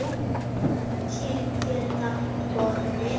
Kýr geta borið